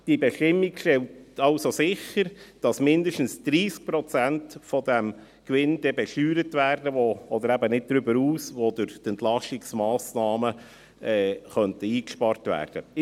Die Bestimmung stellt also sicher, dass mindestens 30 Prozent des Gewinns besteuert werden, oder eben nicht darüber hinaus, welche durch die Entlastungsmassnahmen eingespart werden könnten.